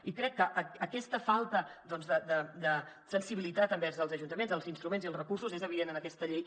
i crec que aquesta falta doncs de sensibilitat envers els ajuntaments els instruments i els recursos és evident en aquesta llei